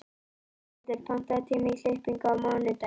Ormhildur, pantaðu tíma í klippingu á mánudaginn.